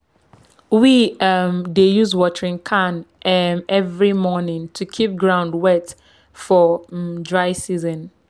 we um dey use watering can um every morning to keep ground wet for um dry season.